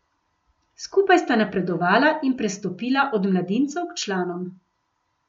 Skupaj sta napredovala in prestopila od mladincev k članom.